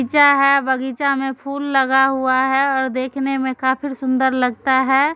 बगीचा है बगीचा मे फूल लगा हुआ है और देखने मे काफिर सुंदर लगता है।